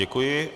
Děkuji.